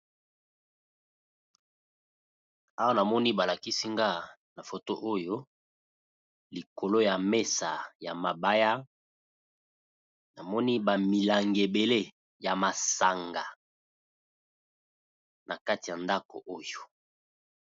Awa na moni ba lakisi nga na foto oyo likolo ya mesa ya mabaya, namoni ba milangi ebele ya masanga na kati ya ndako oyo.